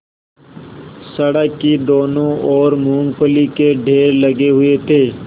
सड़क की दोनों ओर मूँगफली के ढेर लगे हुए थे